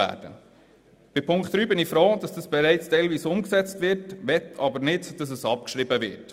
Bei Punkt 3 bin ich froh, dass dies bereits teilweise umgesetzt wird, aber ich möchte nicht, dass es abgeschrieben wird.